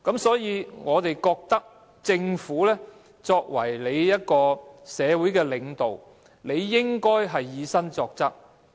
所以，我們認為政府作為社會領導，應該以身作則。